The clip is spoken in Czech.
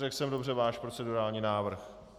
Řekl jsem dobře váš procedurální návrh?